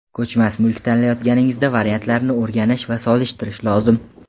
Ko‘chmas mulk tanlayotganingizda variantlarni o‘rganish va solishtirish lozim.